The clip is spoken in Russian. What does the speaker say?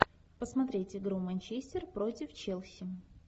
посмотреть игру манчестер против челси